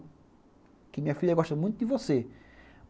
Porque minha filha gosta muito de você.